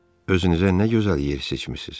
Özünüzə nə gözəl yer seçmisiniz.